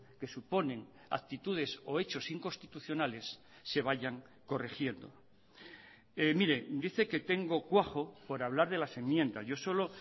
que suponen actitudes o hechos inconstitucionales se vayan corrigiendo mire dice que tengo cuajo por hablar de las enmiendas yo solo